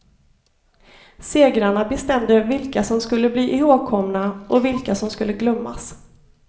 Segrarna bestämde vilka som skulle bli ihågkomna och vilka som skulle glömmas.